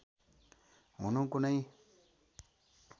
हुनु कुनै